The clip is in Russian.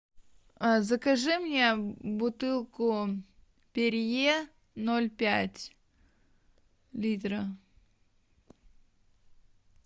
закажи мне бутылку перье ноль пять литра